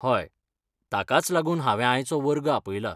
हय, ताकाच लागून हांवें आयचो वर्ग आपयला.